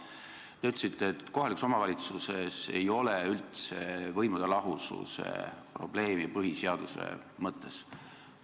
Te nimelt ütlesite, et kohalikus omavalitsuses ei ole üldse võimude lahususe probleemi põhiseaduse mõttes.